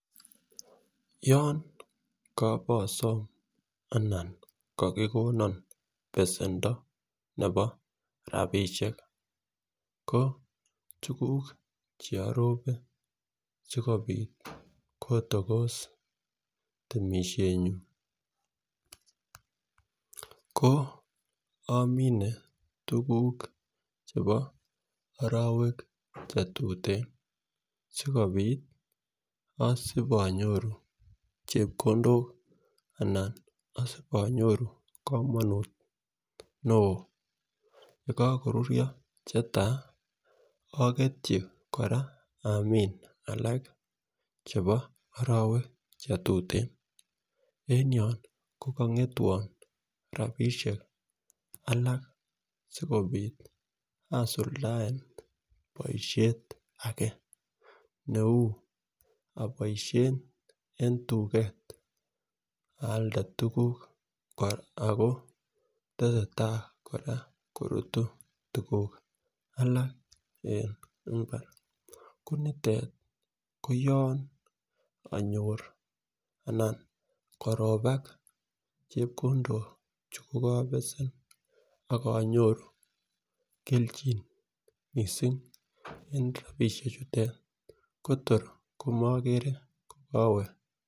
Yon kobosom anan kokikonon besendo nebo rabishek ko tukuk cheorope sikopit kotokos temishenyun ko omin tukuk chebo orowek chetuten sikopit osibonyoru chepkondok ana onyoru komonut neo yekokoruryo chetai oketyi koraa amin alak chebo orowek chetuten en yon ko kongetwon rabishek alak sikopit asuldae boishet age neu iboishen en tuket alde tukuk Ako tesetai koraa korutu tukuk alak en imbar konitet koyoon onyoru anan koropa chepkondok chukokobesen ak onyoru keljin missing en rabishek chute Kotor komomere kowee.